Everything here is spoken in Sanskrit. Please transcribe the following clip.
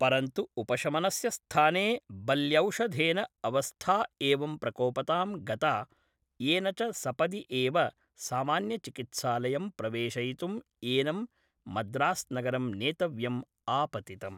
परन्तु उपशमस्य स्थाने बल्यौषधेन अवस्था एवं प्रकोपतां गता येन च सपदि एव सामान्यचिकित्सालयं प्रवेशयितुम् एनं मद्रास्नगरं नेतव्यम् आपतितम्।